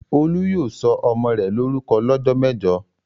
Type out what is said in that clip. Olú yóò sọ ọmọ rẹ̀ lórúkọ lọ́jọ́ mẹ́jọ!